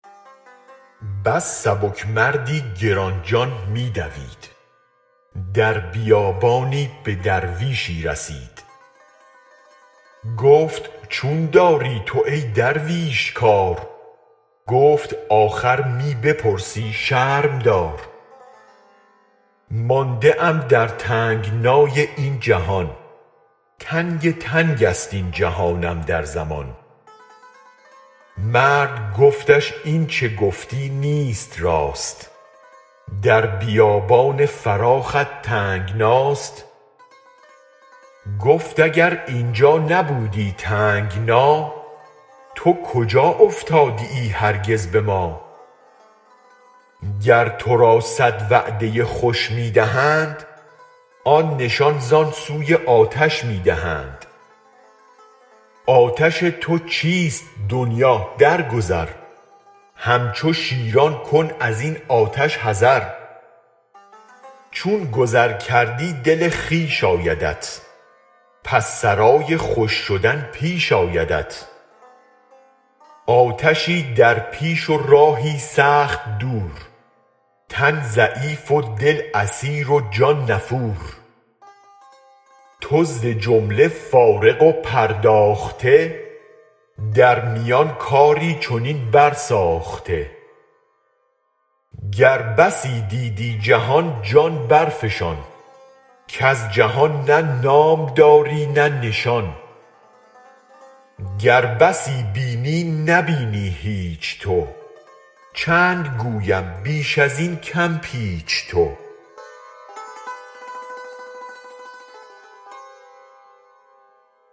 بس سبک مردی گران جان می دوید در بیابانی به درویشی رسید گفت چون داری تو ای درویش کار گفت آخر می بپرسی شرم دار مانده ام در تنگنای این جهان تنگ تنگ است این جهانم در زمان مرد گفتش اینچ گفتی نیست راست در بیابان فراخت تنگناست گفت اگر اینجا نبودی تنگنا تو کجا افتادیی هرگز به ما گر ترا صد وعده خوش می دهند آن نشان زان سوی آتش می دهند آتش تو چیست دنیا درگذر هم چو شیران کن ازین آتش حذر چون گذر کردی دل خویش آیدت پس سرای خوش شدن پیش آیدت آتشی در پیش و راهی سخت دور تن ضعیف و دل اسیر و جان نفور تو ز جمله فارغ و پرداخته در میان کاری چنین برساخته گر بسی دیدی جهان جان برفشان کز جهان نه نام داری نه نشان گر بسی بینی نه بینی هیچ تو چند گویم بیش ازین کم پیچ تو